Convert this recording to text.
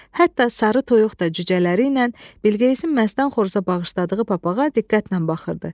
Hətta sarı toyuq da cücələri ilə Bilqeyisin məstən xoruza bağışladığı papağa diqqətlə baxırdı.